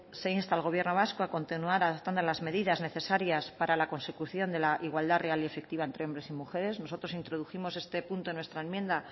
se insta al gobierno vasco a continuar adaptando las medidas necesarias para la consecución de la igualdad real y efectiva entre hombres y mujeres nosotros introdujimos este punto en nuestra enmienda